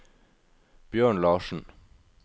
Bjørn Larsen